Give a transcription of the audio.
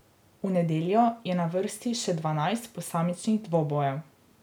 V nedeljo je na vrsti še dvanajst posamičnih dvobojev.